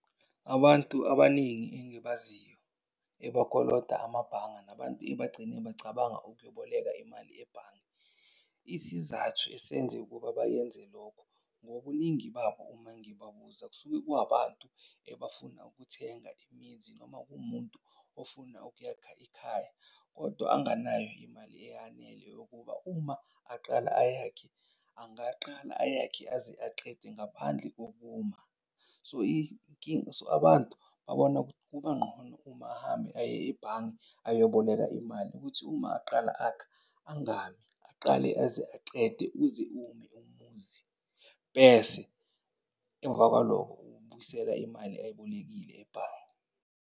Abantu abaningi engibaziyo ebakolota amabhanga nabantu ebagcine bacabanga ukuyoboleka imali ebhange. Isizathu esenze ukuba bayenze lokho ngobuningi babo uma ngibabuza kusuke kuwabantu ebafuna ukuthenga imizi, noma kuwumuntu ofuna ukuyakha ekhaya kodwa anganayo imali eyanele yokuba uma aqala ayakhe angaqala ayakhe aze aqede ngaphandle kokuma. So, inkinga, so abantu babona kuba ngqono uma ahambe aye ebhange ayoboleka imali ukuthi uma aqala akha angami aqale aze aqede, uze ume umuzi. Bese emvakwalokho, ubuyisela imali ayibolekile ebhange.